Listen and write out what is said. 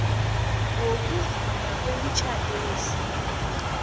wokuvunywa kwemitjhado yesintu